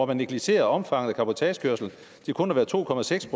man negligerer omfanget af cabotagekørsel til kun at være to procent af